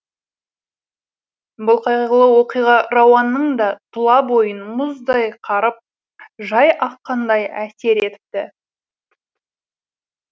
бұл қайғылы оқиға рауанның да тұла бойын мұздай қарып жай аққандай әсер етіпті